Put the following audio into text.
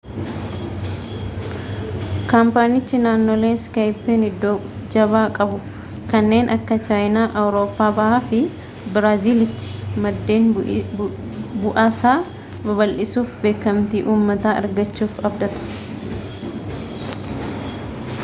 kaampaanichi naannolee skype'n iddoo jabaa qabu kanneen akka chaayinaa awurooppaa bahaa fi biraaziil'tti maddeen bu'aasaa babal'isuufi beekamtii uummataa argachuuf abdata